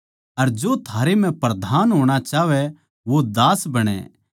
अर जो थारै म्ह प्रधान होणा चाहवैं वो दास बणै